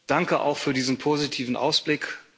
Danke auch für diesen positiven Ausblick.